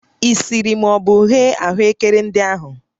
Ị siri ma ọ bụ ghee ahụekere ndị ahụ?